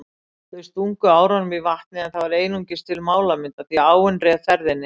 Þau stungu árunum í vatnið en það var einungis til málamynda því áin réð ferðinni.